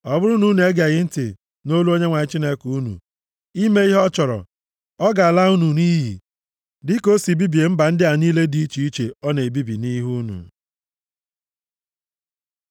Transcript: Ọ bụrụ na unu egeghị ntị nʼolu Onyenwe anyị Chineke unu, ime ihe ọ chọrọ, ọ ga-ala unu nʼiyi, dịka o si bibie mba ndị a niile dị iche iche ọ na-ebibi nʼihi unu.